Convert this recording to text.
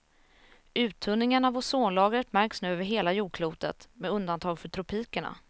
Uttunningen av ozonlagret märks nu över hela jordklotet, med undantag för tropikerna.